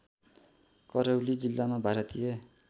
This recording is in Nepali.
करौली जिल्ला भारतीय